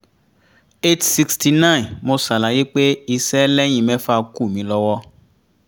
eight sixty nine mo ṣàlàyé pé iṣẹ́ lẹ́yìn mẹ́fà kù mí lọ́wọ́